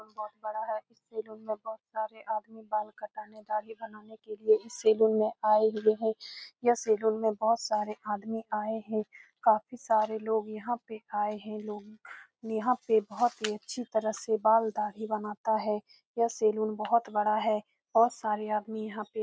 बहुत बड़ा है इस सैलून में बहुत सारे आदमी बाल कटाने दाढ़ी बनाने के लिए इस सैलून में आये हुए है यह सैलून में बहुत सारे आदमी आये है काफी सारे लोग यहाँ पे आये है लोग यहाँ पे बहुत ही अच्छी तरह से बाल दाढ़ी बनाता है यह सैलून बहुत बड़ा है बहुत सारे आदमी यहाँ पे --